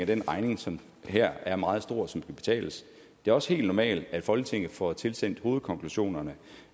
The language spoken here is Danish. den regning som her er meget stor og skal betales det er også helt normalt at folketinget får tilsendt hovedkonklusionerne